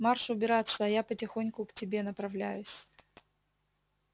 марш убираться а я потихоньку к тебе направляюсь